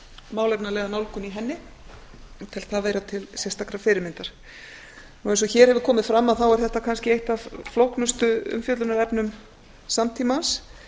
málefnalega nálgun í henni ég tel það vera til sérstakrar fyrirmyndar eins og hér hefur komið fram er þetta kannski eitt af flóknustu umfjöllunarefnum samtímans